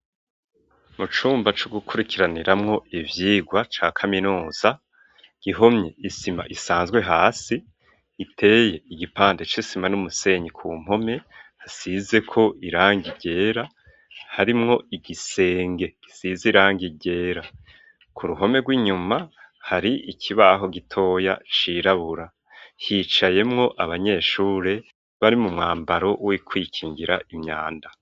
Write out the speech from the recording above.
Mu cumba co gukurikiraniramwo ivyirwa ca kaminuza, igihome, isima isanzwe hasi iteye igipande c'isima n'umusenyi ku mpome, hasizeko irangi ryera, harimwo igisenge gisize irangi ryera. Ku ruhome rw'inyuma, hari ikibaho gitoya cirabura. Hicayemwo abanyeshuri bari mu mwambaro wo kwikingira imyanda.